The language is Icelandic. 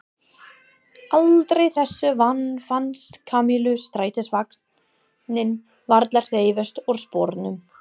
Aldrei þessu vant fannst Kamillu strætisvagninn varla hreyfast úr sporunum.